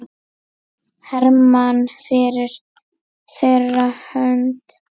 Hermann fyrir þeirra hönd.